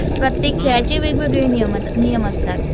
प्रत्येक खेळाचे वेगवेगळे नियम असतात.